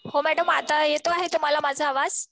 हो मॅडम, आता येतो आहे तुम्हाला माझा आवाज?